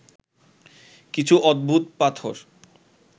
কিছু অদ্ভুত পাথর